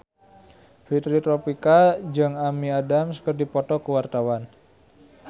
Fitri Tropika jeung Amy Adams keur dipoto ku wartawan